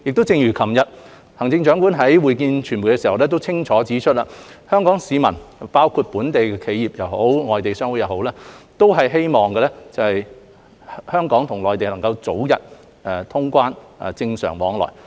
正如行政長官昨日在會見傳媒時清楚指出，香港市民包括本地企業以至外國商會都希望香港能與內地早日通關和恢復正常往來。